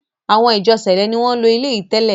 awọn “Ìjọ sẹ̀lẹ́” ni wọ́n ń lo ilé yìí tẹ́lẹ̀.